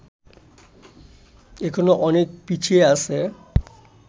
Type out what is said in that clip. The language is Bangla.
এখনো অনেক পিছিয়ে আছে